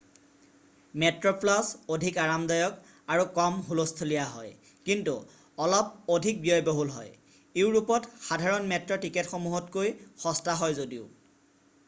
মেট্ৰ'প্লাছ অধিক আৰামদায়ক আৰু কম হুলস্থূলিয়া হয় কিন্তু অলপ অধিক ব্যয়বহুল হয় ইউৰোপত সাধাৰণ মেট্ৰ' টিকটসমূহতকৈও সস্তা হয় যদিও৷